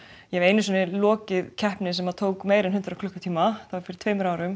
ég hef einu sinni lokið keppni sem tók meira en hundrað klukkutíma fyrir tveimur árum